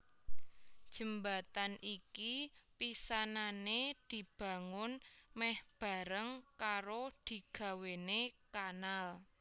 Jembatan iki pisanané dibangun mèh bareng karo digawéné kanal